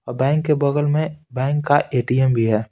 और बैंक के बगल में बैंक का एटीएम भी है।